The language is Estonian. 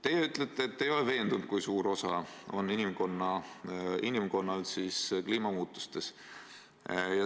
Teie ütlete, et te ei ole veendunud, kui suur osa on inimkonnal kliimamuutustes.